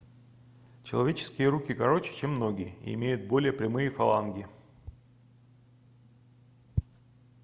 человеческие руки короче чем ноги и имеют более прямые фаланги